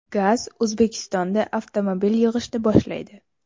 GAZ O‘zbekistonda avtomobil yig‘ishni boshlaydi.